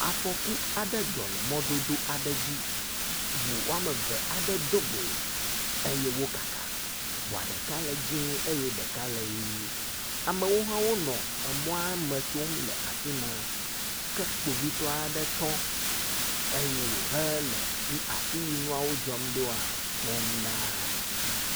Afɔku aɖe dzɔ le mɔdodo aɖe dzi. Ŋu eme eve aɖe do go eye wo kaka. Ŋua ɖeka le dzɛ̃e eye ɖeka le ʋi. Amewo hã wonɔ mɔa me tsom le afi ma ke kpovitɔa ɖe tɔ eye wohe le afi si nuawo dzɔm ɖoa kpɔm ɖaa.